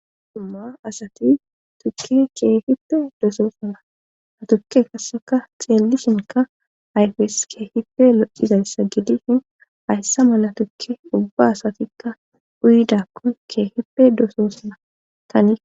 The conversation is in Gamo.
Dumma asati tukki keehippe dosoosana ha tukke kasseka xeellishinka ayfes kee hipe locizayssa gidi shin hayssa mala tukke ubba asatikka uyidakkon kee hipe doosoosana tanii